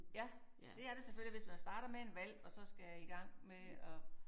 Ja det er det selvfølgelig og hvis man starter med en hvalp og så skal i gang med at